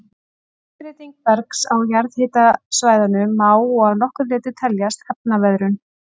Umbreyting bergs á jarðhitasvæðunum má og að nokkru leyti teljast efnaveðrun.